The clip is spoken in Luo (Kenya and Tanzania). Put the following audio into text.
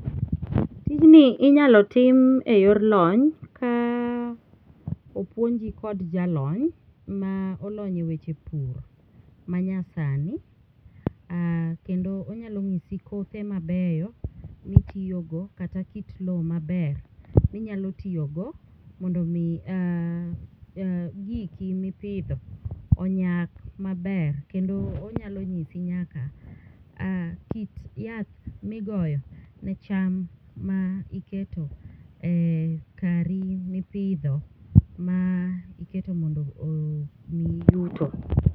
Tijni ninyalo tim e yor lony ka opuonji kod jalony ma olony eweche pur manyasani kendo onyalo nyisi kothe mabeyo ma itiyogo kendo kothe maber ma inyalo tiyogo mondo mi giki ma ipidho onyag maber. Onyalo nyisi nyaka kit yath ma igoyo ne cham ma iketo e kari ma ipidho mar iketo mondo nomiyi yuto.